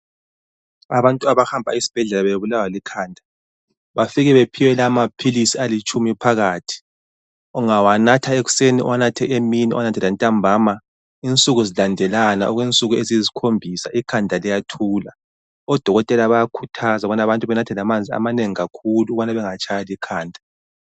Abantu abahamba esbhedlela bebulawa likhanda, bafike baphiwe amaphilisi la alitshumi phakathi. Ungawanatha ekuseni, uwanathe emini, uwanathe lantambama insuku zilandelana okwensuku eziyisikhombisa ikhanda liyathula. Odokotela bayakhuthaza ukubana abantu benathe lamanzi amanengi kakhulu ukubana bengatshwa likhanda.